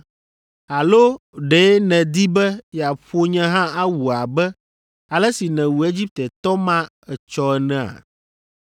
‘Alo ɖe nèdi be yeaƒo nye hã awu abe ale si nèwu Egiptetɔ ma etsɔ enea?’